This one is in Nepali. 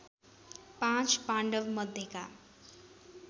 पाँच पाण्डवमध्येका